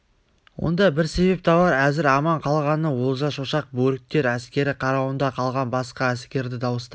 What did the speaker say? онда бір себеп табар әзір аман қалғаны олжа шошақ бөрікті әскер қарауында қалған басқа әскерді дауыстап